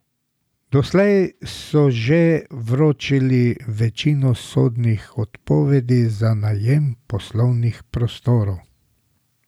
Doslej so že vročili večino sodnih odpovedi za najem poslovnih prostorov.